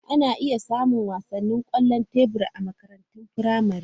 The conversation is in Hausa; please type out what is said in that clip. Ana iya samun wasan kwallon tebur a makarantar firamare.